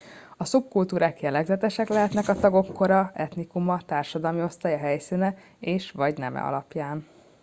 a szubkultúrák jellegzetesek lehetnek a tagok kora etnikuma társadalmi osztálya helyszíne és/vagy neme alapján